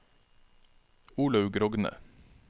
Olaug Rogne